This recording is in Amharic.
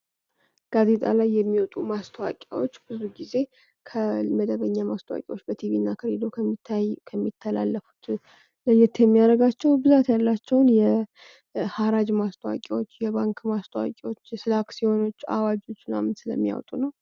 ጋዜጣ ላይ የሚወጡ ማስታወቂያዎች ብዙ ጊዜ ከመደበኛ ማስታወቂያዎች በቲቪና ከሬድዮ ከሚተላለፉ ለየት የሚያደርጋቸው ብዛት ያላቸውን የሐራጅ ማስታወቂያዎችን የባንክ ማስታወቂያዎችን ስለ አክሲዮኖች አዋጆች ምናምን ስለሚወጡ ነው።